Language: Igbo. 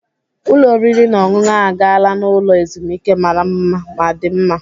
Ụlọ oriri na ọṅụṅụ a gaala n'ụlọ ezumike mara mma ma dị mma.